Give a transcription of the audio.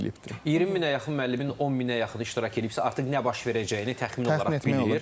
20 minə yaxın müəllimin 10 mini iştirak eləyibsə, artıq nə baş verəcəyini təxmin olaraq bilir.